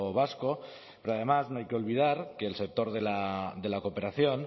vasco pero además no hay que olvidar que el sector de la cooperación